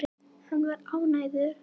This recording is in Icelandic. Hann var ánægður.